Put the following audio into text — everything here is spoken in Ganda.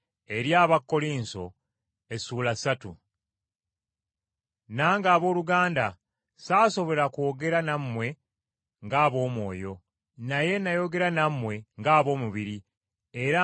Nange abooluganda ssaasobola kwogera nammwe ng’ab’omwoyo, naye nayogera nammwe ng’ab’omubiri era ng’abaana abawere mu Kristo.